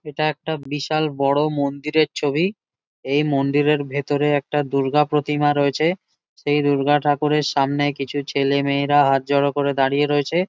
এটা একটা বিশাল বড়ো মন্দিরের ছবি। এই মন্দিরের ভেতরে একটা দূর্গা প্রতিমা রয়েছে। সেই দূর্গা ঠাকুরের সামনে কিছু ছেলে মেয়েরা হাত জড়ো করে দাঁড়িয়ে রয়েছে ।